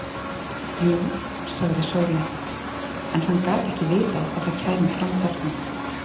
Jú, sagði Sóley, en hann gat ekki vitað að það kæmi fram þarna.